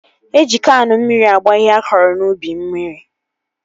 Eji Kaanụ mmiri agba ihe a kọrọ n'ubi mmiri